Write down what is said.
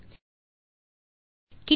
2